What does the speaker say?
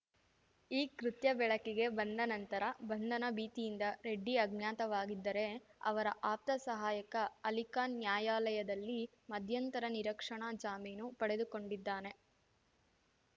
ಈ ಕೃತ್ಯ ಬೆಳಕಿಗೆ ಬಂದ ನಂತರ ಬಂಧನ ಭೀತಿಯಿಂದ ರೆಡ್ಡಿ ಅಜ್ಞಾತವಾಗಿದ್ದರೆ ಅವರ ಆಪ್ತ ಸಹಾಯಕ ಅಲಿಖಾನ್‌ ನ್ಯಾಯಾಲಯದಲ್ಲಿ ಮಧ್ಯಂತರ ನಿರಕ್ಷಣಾ ಜಾಮೀನು ಪಡೆದುಕೊಂಡಿದ್ದಾನೆ